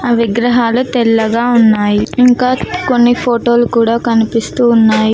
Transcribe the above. ఆ విగ్రహాలు తెల్లగా ఉన్నాయి ఇంకా కొన్ని ఫోటోలు కూడా కనిపిస్తూ ఉన్నాయ్.